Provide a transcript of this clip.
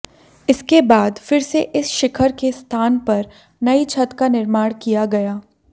इसके बाद फिर से इस शिखर के स्थान पर नई छत का निर्माण किया गया